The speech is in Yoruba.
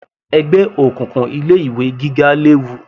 Ẹgbẹ́ òkùnkùn ilé ìwé gíga léwu